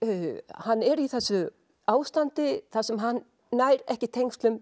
hann er í þessu ástandi þar sem hann nær ekki tengslum